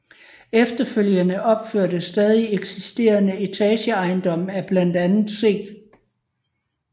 Efterfølgende opførtes stadig eksisterende etageejendomme af blandt andet C